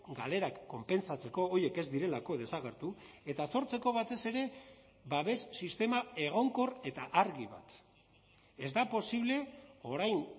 galerak konpentsatzeko horiek ez direlako desagertu eta sortzeko batez ere babes sistema egonkor eta argi bat ez da posible orain